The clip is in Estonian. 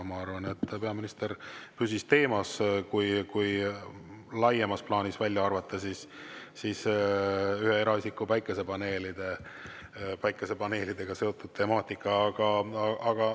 Ma arvan, et peaminister püsis laiemas plaanis teemas, kui välja arvata ühe eraisiku päikesepaneelidega seotud temaatika.